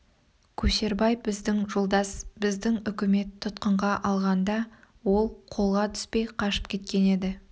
көшербай біздің жолдас біздің үкімет тұтқынға алынғанда ол қолға түспей қашып кеткен еді